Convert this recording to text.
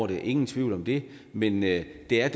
det ingen tvivl om det men det det er